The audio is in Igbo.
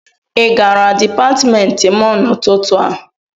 ị gara Dipatmentị m n'ụtụtụ a?